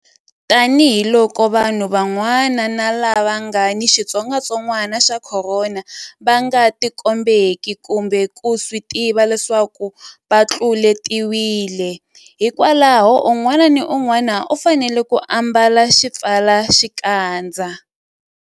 Tanihiloko vanhu van'wana lava nga ni xitsongwantsongwanaxa Khorona va nga tikombeki kumbe ku swi tiva leswaku va tluletiwile, hikwalaho un'wana na un'wana u fanele ku ambala xipfalaxikandza.